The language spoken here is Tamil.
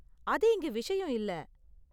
அது இங்க விஷயம் இல்லை.